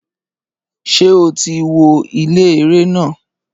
Ṣé o ti wo ilé eré náà?